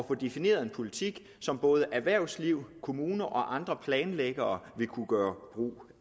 få defineret en politik som både erhvervsliv kommuner og andre planlæggere vil kunne gøre brug